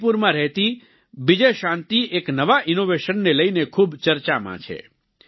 મણિપુરમાં રહેતી બિજયશાન્તિ એક નવા ઈનોવેશન ને લઈને ખૂબ ચર્ચામાં છે